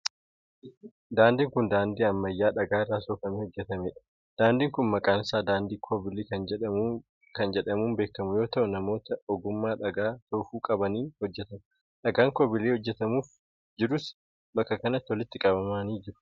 Daandiin kun, daandii ammayyaa dhagaa irraa soofamee hojjatamee dha. Daandiin kun maqaan isaa daandii koobilii kan jedhamuun beekamu yoo ta'u, namoota ogummaa dhagaa soofuu qabaniin hojjatama. Dhagaan koobilii hojjatamuuf jirus bakka kanatti walitti qabamanii jiru.